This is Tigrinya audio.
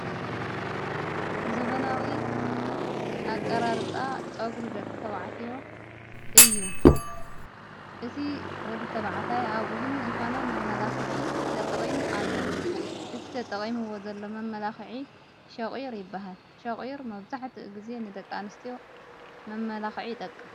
ዘበናዊ ኣቀራርፃ ፆጕሩ ደቂ ተዉዓትዮ እዩ እቲ ወዲ ተብዓታይ ኣብ ኡዝኑ ዝኾነ መመላኽዒ ተጠቕሙ ኣሎ እቲ ተጠቐሙዎ ዘሎ መመላኽዒ ሸቝይር ይበሃል ሸቝይር መብዛሕት ጊዜ ንደቂንስትዮ መመላኽዒ ይጠቅም።